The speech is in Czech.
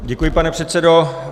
Děkuji, pane předsedo.